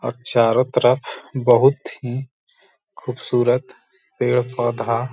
और चारो तरफ बहुत ही खूबसूरत पेड़-पौधा --